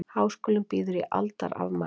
Háskólinn býður í aldarafmæli